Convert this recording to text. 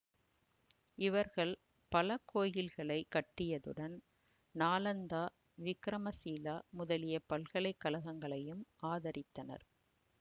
இவர்கள் பல கோயில்களைக் கட்டியதுடன் நாலந்தா விக்கிரமசீலா முதலிய பல்கலை கழகங்களையும் ஆதரித்தனர்